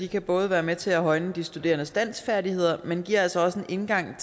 kan både være med til at højne de studerendes danskfærdigheder men giver altså også en indgang